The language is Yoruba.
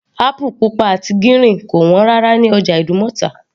Apple pupa àti gírìn kò wọ́n rárá ní ọjà ìdúmọ̀tà